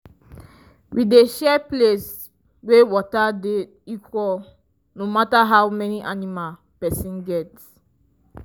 we dey share place wey water dey equal no matter how many animal person get.